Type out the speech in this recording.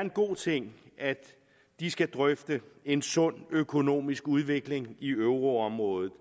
en god ting at de skal drøfte en sund økonomisk udvikling i euroområdet